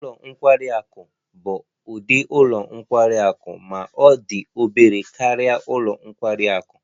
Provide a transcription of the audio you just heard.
Ụlọ nkwari akụ bụ ụdị ụlọ nkwari akụ ma ọ dị obere karịa ụlọ nkwari akụ